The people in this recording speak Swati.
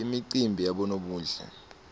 imicimbi yabonobuhle